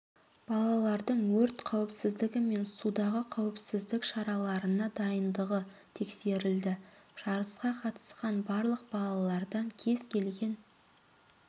балалардың өрт қауіпсіздгі мен судағы қауіпсіздік шараларына дайындығы тексерілді жарысқа қатысқан барлық балалардан кез келген